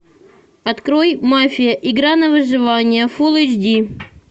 открой мафия игра на выживание фулл эйч ди